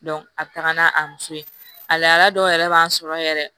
a bɛ taga n'a a muso ye a laadara dɔw yɛrɛ b'a sɔrɔ yɛrɛ